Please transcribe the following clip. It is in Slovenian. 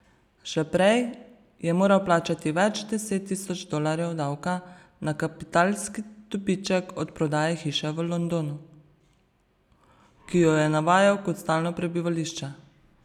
Še prej je moral plačati več deset tisoč dolarjev davka na kapitalski dobiček od prodaje hiše v Londonu, ki jo je navajal kot stalno prebivališče.